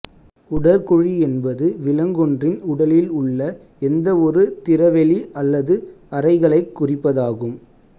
உடற் குழி என்பது விலங்கொன்றின் உடலில் உள்ள எந்தவொரு திறவெளி அல்லது அறைகளைக் குறிப்பதாகும்